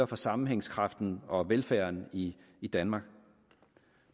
for sammenhængskraften og velfærden i i danmark